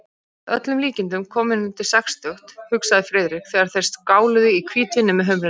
Að öllum líkindum kominn undir sextugt, hugsaði Friðrik, þegar þeir skáluðu í hvítvíni með humrinum.